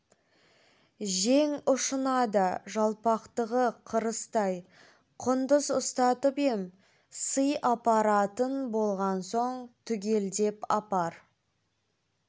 жең ұшына да жалпақтығы қарыстай құндыз ұстатып ем сый апаратын болған соң түгелдеп апар